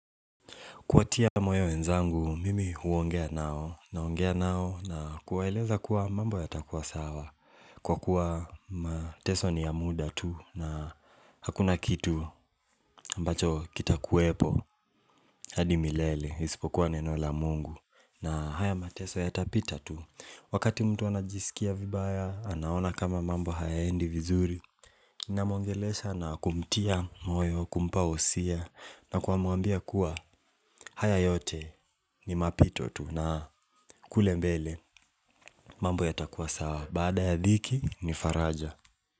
Kwa tia moyo wenzangu, mimi huongea nao. Naongea nao na kuwaeleza kuwa mambo yatakuwa sawa. Kwa kuwa mateso ni ya muda tu na hakuna kitu ambacho kita kuepo. Hadi milele, isipokuwa neno la mungu. Na haya mateso yatapita tu. Wakati mtu anajisikia vibaya, anaona kama mambo hayaendi vizuri. Na mwongelesha na kumtia moyo, kumpa wosia. Na kwa muambia kuwa haya yote ni mapito tu na kule mbele mambo yatakuwa sawa badaa ya dhiki ni faraja.